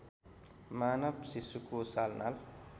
मानवशिशुको सालनाल